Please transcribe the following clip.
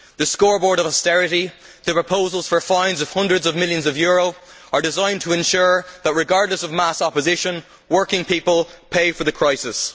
The scoreboard on austerity, and the proposals for fines of hundreds of millions of euro, are designed to ensure that, regardless of mass opposition, working people pay for the crisis.